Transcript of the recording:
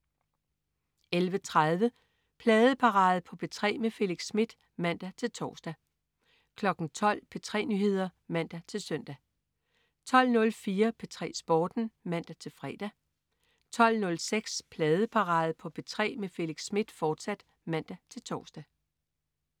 11.30 Pladeparade på P3 med Felix Smith (man-tors) 12.00 P3 Nyheder (man-søn) 12.04 P3 Sporten (man-fre) 12.06 Pladeparade på P3 med Felix Smith, fortsat (man-tors)